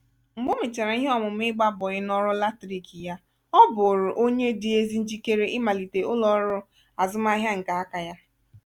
mgbe o mèchàrà ihe ọmụmụ ịgba bọị n'ọrụ latrik yaọ bụụrụ onye dị ezi njikere ịmalite ụlo-ọru azụmahịa nke aka ya.